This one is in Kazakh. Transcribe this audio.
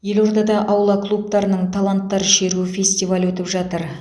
елордада аула клубтарының таланттар шеруі фестивалі өтіп жатыр